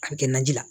A bɛ kɛ naji la